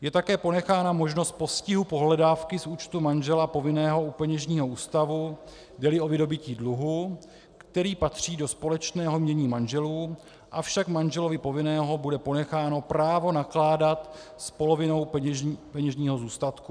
Je také ponechána možnost postihu pohledávky z účtu manžela povinného u peněžního ústavu, jde-li o vydobytí dluhu, který patří do společného jmění manželů, avšak manželovi povinného bude ponecháno právo nakládat s polovinou peněžního zůstatku.